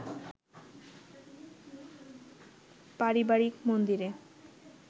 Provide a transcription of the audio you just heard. পারিবারিক মন্দিরে